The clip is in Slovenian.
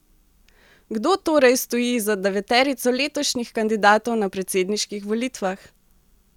Kdo torej stoji za deveterico letošnjih kandidatov na predsedniških volitvah?